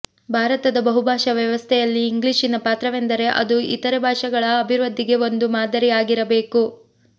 ಭಾರತದ ಬಹುಭಾಷಾ ವ್ಯವಸ್ಥೆಯಲ್ಲಿ ಇಂಗ್ಲಿಶಿನ ಪಾತ್ರವೆಂದರೆ ಅದು ಇತರೆ ಭಾಷೆಗಳ ಅಭಿವೃದ್ಧಿಗೆ ಒಂದು ಮಾದರಿ ಆಗಬೇಕಾಗಿರುವುದು